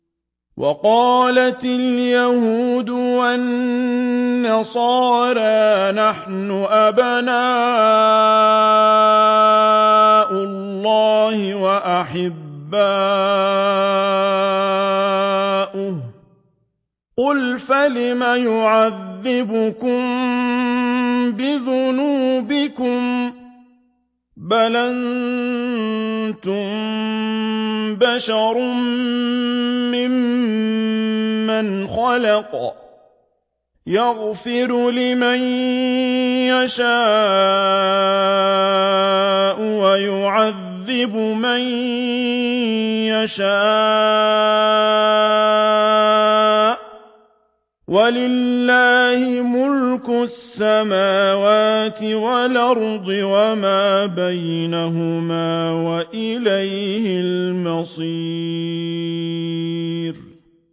وَقَالَتِ الْيَهُودُ وَالنَّصَارَىٰ نَحْنُ أَبْنَاءُ اللَّهِ وَأَحِبَّاؤُهُ ۚ قُلْ فَلِمَ يُعَذِّبُكُم بِذُنُوبِكُم ۖ بَلْ أَنتُم بَشَرٌ مِّمَّنْ خَلَقَ ۚ يَغْفِرُ لِمَن يَشَاءُ وَيُعَذِّبُ مَن يَشَاءُ ۚ وَلِلَّهِ مُلْكُ السَّمَاوَاتِ وَالْأَرْضِ وَمَا بَيْنَهُمَا ۖ وَإِلَيْهِ الْمَصِيرُ